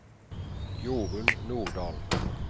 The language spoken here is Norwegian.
Jorun Nordahl